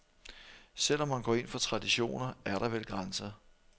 Selv om man går ind for traditioner, er der vel grænser.